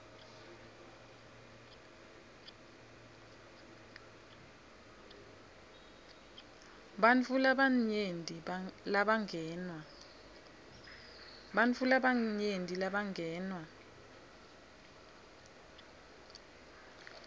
bantfu labanyenti labangenwa